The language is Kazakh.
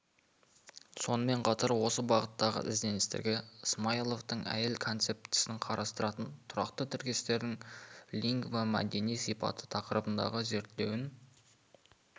сонымен қатар осы бағыттағы ізденістерге смайловтың әйел концептісін қалыптастыратын тұрақты тіркестердің лингвомәдени сипаты тақырыбындағы зерттеуін